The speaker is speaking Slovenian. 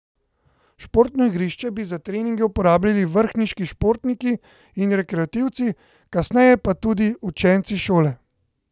Športno igrišče bi za treninge uporabljali vrhniški športniki in rekreativci, kasneje pa tudi učenci šole.